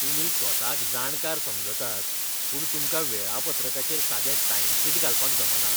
तुमी स्वताक जाणकार समजतात, पूण तुमकां वेळापत्रकाचेर सादें टायमशीट घालपाक जमना. वेवस्थापक